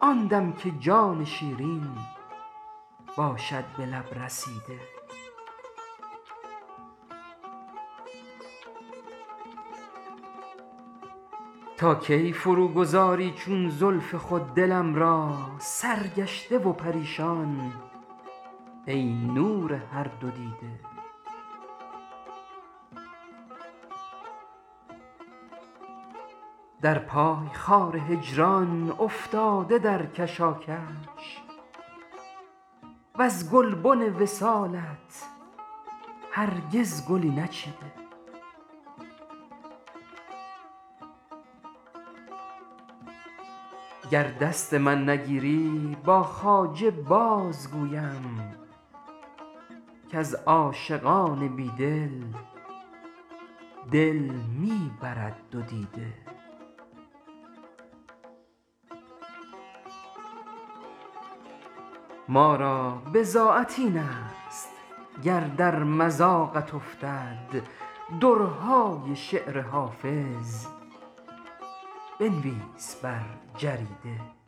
آن دم که جان شیرین باشد به لب رسیده تا کی فرو گذاری چون زلف خود دلم را سرگشته و پریشان ای نور هر دودیده در پای خار هجران افتاده در کشاکش وز گلبن وصالت هرگز گلی نچیده گر دست من نگیری با خواجه بازگویم کز عاشقان بیدل دل می برد دو دیده ما را بضاعت این است گر در مذاقت افتد درهای شعر حافظ بنویس بر جریده